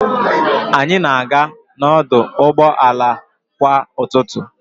Anyị na-aga n'ọdụ ụgbọ ala kwa ụtụtụ.